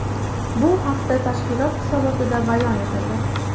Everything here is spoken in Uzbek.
Bu haqda tashkilot hisobotida bayon etildi .